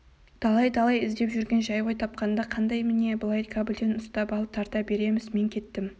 талай-талай кездесіп жүрген жай ғой тапқанда қандай міне былай кабельден үстап алып тарта береміз мен кеттім